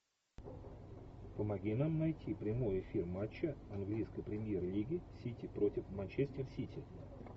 помоги нам найти прямой эфир матча английской премьер лиги сити против манчестер сити